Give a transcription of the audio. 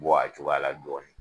Bɔ a cogoya la dɔɔnin